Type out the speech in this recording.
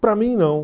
Para mim, não.